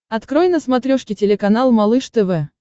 открой на смотрешке телеканал малыш тв